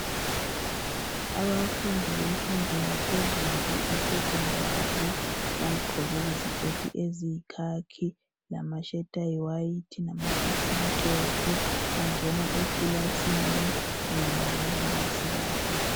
Abafundi bemfundo yaphezulu iSekhondari bagqoke iziketi eziyikhakhi lama"shirt" ayi "white" lama"socks" amhlophe .Bangena ekilasini kanye lababalisi babo.